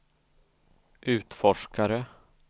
utforskare